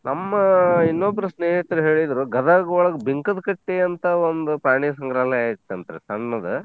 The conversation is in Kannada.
ನಮ್ಮ ಇನ್ನೊಬ್ರು ಸ್ನೇಹಿತ್ರು ಹೇಳಿದ್ರು ಗದಗ್ ಒಳಗ್ ಬಿಂಕದ್ಕಟ್ಟಿ ಅಂತ ಒಂದ್ ಪ್ರಾಣಿ ಸಂಗ್ರಹಾಲಯ ಐತಂರ್ತೀ ಸಣ್ಣದ.